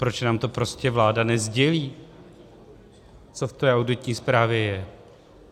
Proč nám to prostě vláda nesdělí, co v té auditní zprávě je?